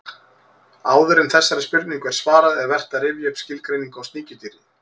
Áður en þessari spurningu er svarað er vert að rifja upp skilgreiningu á sníkjudýri.